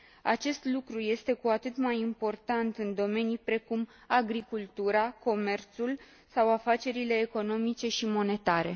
Acest lucru este cu atât mai important în domenii precum agricultura, comerțul sau afacerile economice și monetare.